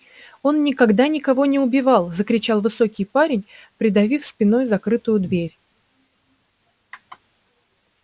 он никогда никого не убивал закричал высокий парень придавив спиной закрытую дверь